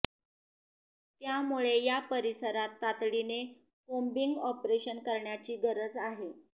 त्यामुळे या परिसरात तातडीने कोम्बिंग ऑपरेशन करण्याची गरज आहे